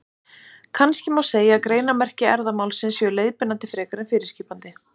Kannski má segja að greinarmerki erfðamálsins séu leiðbeinandi frekar en fyrirskipandi.